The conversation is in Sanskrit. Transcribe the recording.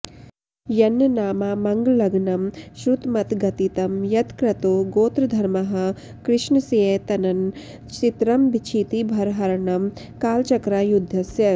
यन्नामामङ्गलघ्नं श्रुतमथ गदितं यत्कृतो गोत्रधर्मः कृष्णस्यैतन्न चित्रं क्षितिभरहरणं कालचक्रायुधस्य